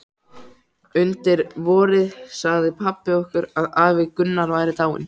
Undir vorið sagði pabbi okkur að afi Gunnar væri dáinn.